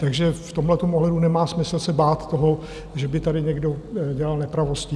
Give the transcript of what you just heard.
Takže v tomhle ohledu nemá smysl se bát toho, že by tady někdo dělal nepravosti.